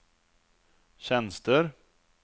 tjänster